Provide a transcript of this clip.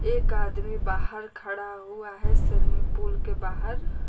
एक आदमी बाहर खड़ा हुआ है शर्मी पूल के बाहर।